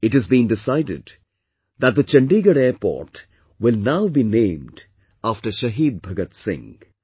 It has been decided that the Chandigarh airport will now be named after Shaheed Bhagat Singh